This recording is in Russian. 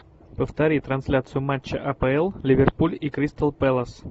повтори трансляцию матча апл ливерпуль и кристал пэлас